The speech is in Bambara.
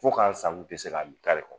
Fo k'an sago tɛ se ka min kari kɔnɔ